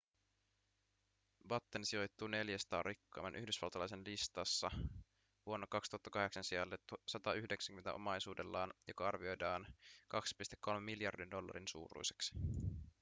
batten sijoittui 400 rikkaimman yhdysvaltalaisen listassa vuonna 2008 sijalle 190 omaisuudellaan joka arvioidaan 2,3 miljardin dollarin suuruiseksi